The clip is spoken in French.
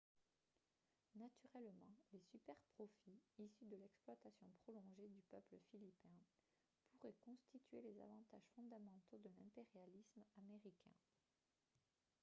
naturellement les superprofits issus de l'exploitation prolongée du peuple philippin pourraient constituer les avantages fondamentaux de l'impérialisme américain